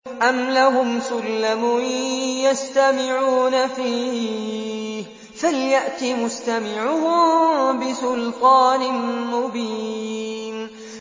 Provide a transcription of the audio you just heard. أَمْ لَهُمْ سُلَّمٌ يَسْتَمِعُونَ فِيهِ ۖ فَلْيَأْتِ مُسْتَمِعُهُم بِسُلْطَانٍ مُّبِينٍ